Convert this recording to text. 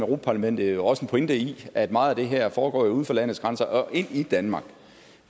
parlamentet også har en pointe i at meget af det her foregår uden for landets grænser og ikke i danmark